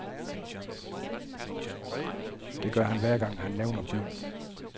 Det gør han hver gang, han nævner byen.